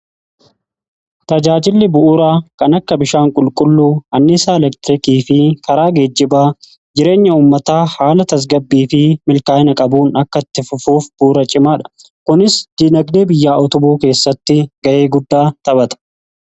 Tajaajilli bu'uuraa kan akka bishaan qulqulluu, anniisa elektirikii fi karaa geejjibaa jireenya uummataa haala tasgabbii fi milkaa'ina qabuun akkatti fufuuf bu'uura cimaadha. Kunis dinagdee biyyaa utubuu keessatti ga'ee guddaa taphata.